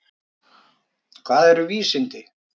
Hvað eru vísindi?